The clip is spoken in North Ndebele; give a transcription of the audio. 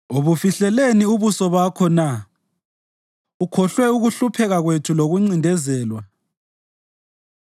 Ubufihlelani ubuso bakho na, ukhohlwe ukuhlupheka kwethu lokuncindezelwa?